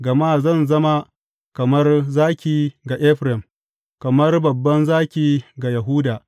Gama zan zama kamar zaki ga Efraim, kamar babban zaki ga Yahuda.